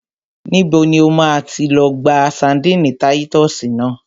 Níbo ni o ti máa lọ gba ṣadínnì táyítọ́sì náà?